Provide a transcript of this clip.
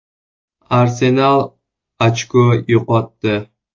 “Arsenal” ochko yo‘qotdi.